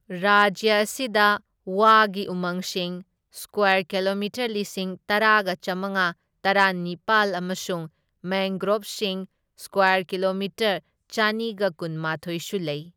ꯔꯥꯖ꯭ꯌ ꯑꯁꯤꯗ ꯋꯥꯒꯤ ꯎꯃꯪꯁꯤꯡ ꯁꯀ꯭ꯋꯥꯔ ꯀꯤꯂꯣꯃꯤꯇꯔ ꯂꯤꯁꯤꯡ ꯇꯔꯥꯒ ꯆꯥꯝꯃꯉꯥ ꯇꯔꯥꯅꯤꯄꯥꯜ ꯑꯃꯁꯨꯡ ꯃꯦꯡꯒ꯭ꯔꯣꯚꯁꯤꯡ ꯁꯀ꯭ꯋꯥꯔ ꯀꯤꯂꯣꯃꯤꯇꯔ ꯆꯅꯤꯒ ꯀꯨꯟꯃꯥꯊꯣꯢꯁꯨ ꯂꯩ꯫